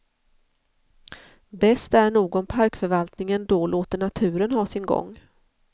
Bäst är nog om parkförvaltningen då låter naturen ha sin gång.